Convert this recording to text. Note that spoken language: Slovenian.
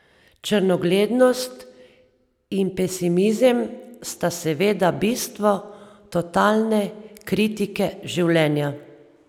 Črnogledost in pesimizem sta seveda bistvo totalne kritike življenja.